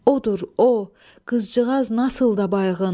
Odur o, qızcığaz nasıl da bayğın.